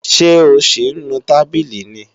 Ṣé ò ń sì nu tábìlì ni